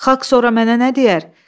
Xalq sonra mənə nə deyər?